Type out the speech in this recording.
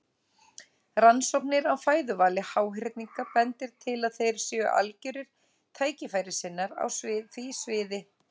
Rannsóknir á fæðuvali háhyrninga bendir til að þeir séu algjörir tækifærissinnar á því sviði.